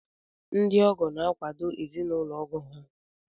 Ndị ọgọ na-akwàdò ezinaụlọ ọgọ ha